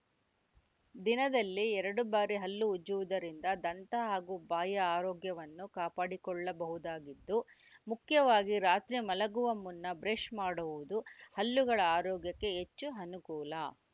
ದಿನದಲ್ಲಿ ಎರಡು ಬಾರಿ ಹಲ್ಲು ಉಜ್ಜುವುದರಿಂದ ದಂತ ಹಾಗೂ ಬಾಯಿಯ ಆರೋಗ್ಯವನ್ನು ಕಾಪಾಡಿಕೊಳ್ಳಬಹುದಾಗಿದ್ದು ಮುಖ್ಯವಾಗಿ ರಾತ್ರಿ ಮಲಗುವ ಮುನ್ನ ಬ್ರೇಷ್‌ ಮಾಡುವುದು ಹಲ್ಲುಗಳ ಆರೋಗ್ಯಕ್ಕೆ ಹೆಚ್ಚು ಅನುಕೂಲ